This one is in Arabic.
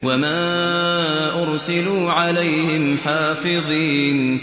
وَمَا أُرْسِلُوا عَلَيْهِمْ حَافِظِينَ